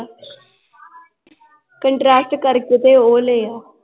Contrast ਕਰਕੇ ਤੇ ਉਹ ਲੈ ਆ